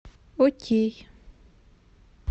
окей